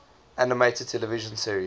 animated television series